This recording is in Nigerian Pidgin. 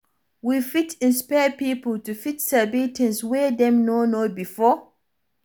We fit isnpire pipo to fit sabi things wey dem no know before